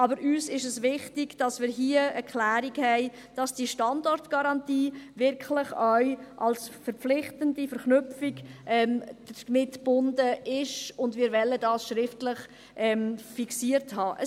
Uns ist es aber wichtig, dass wir hier eine Klärung haben, damit diese Standortgarantie wirklich auch als verpflichtende Verknüpfung damit verbunden ist, und dies wollen wir schriftlich fixiert haben.